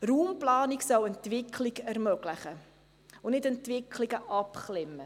Raumplanung soll Entwicklung ermöglichen und nicht Entwicklungen abklemmen.